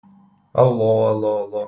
алло алло алло